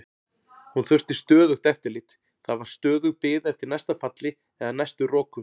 Hún þurfti stöðugt eftirlit, það var stöðug bið eftir næsta falli eða næstu roku.